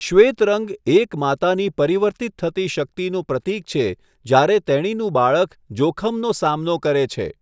શ્વેત રંગ એક માતાની પરિવર્તિત થતી શક્તિનું પ્રતીક છે જ્યારે તેણીનું બાળક જોખમનો સામનો કરે છે.